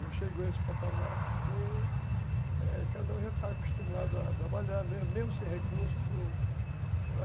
Não chegou a esse patamar porque cada um já está acostumado a trabalhar mesmo sem recursos.